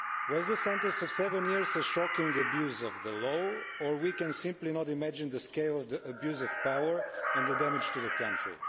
Was the sentence of seven years a shocking abuse of the law, or can we simply not imagine the scale of the abuse of power and the damage to the country?